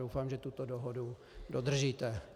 Doufám, že tuto dohodu dodržíte.